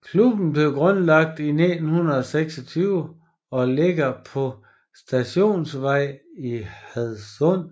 Klubben blev grundlagt 1926 og ligger på Stadionvej i Hadsund